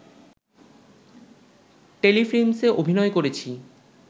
টেলিফিল্মসে অভিনয় করেছি